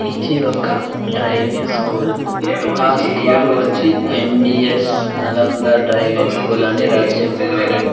ఇది ఒక driving school ఆ స్కూల్ వచ్చి ఎన్_డి_ఎస్ నలంద డ్రైవింగ్ స్కూల్ అని రాసి ఉన్నారు.